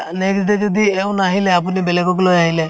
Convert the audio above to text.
next day যদি এও নাহিলে আপুনি বেলেগক লৈ আহিলে